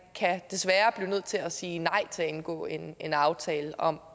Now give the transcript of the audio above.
desværre kan blive nødt til at sige nej til at indgå en en aftale om